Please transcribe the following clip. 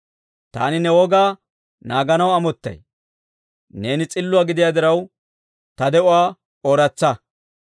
Taani ne wogaa naaganaw amottay; neeni s'illuwaa gidiyaa diraw, ta de'uwaa ooratsa.